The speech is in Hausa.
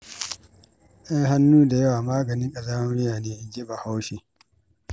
Ai hannu da yawa, maganin ƙazamar miya ne inji bahaushe.